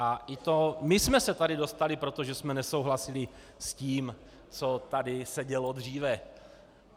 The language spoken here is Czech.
A my jsme se tady dostali, protože jsme nesouhlasili s tím, co tady se dělo dříve.